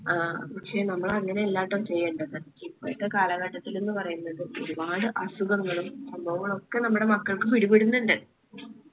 ആ പക്ഷെ നമ്മൾ അങ്ങനെ അല്ലാട്ടോ ചെയ്യേണ്ടത്. ഇപ്പോഴത്തെ കാലഘട്ടത്തില് എന്ന് പറയുന്നത് ഒരുപാട് അസുഖങ്ങളും സംഭവങ്ങളൊക്കെ നമ്മടെ മക്കൾക്ക് പിടിപെടുന്നിണ്ട്‌